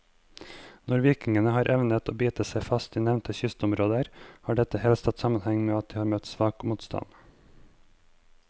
Når vikingene har evnet å bite seg fast i nevnte kystområder, har dette helst hatt sammenheng med at de har møtt svak motstand.